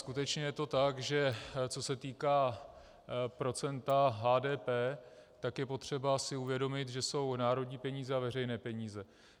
Skutečně je to tak, že co se týká procenta HDP, tak je potřeba si uvědomit, že jsou národní peníze a veřejné peníze.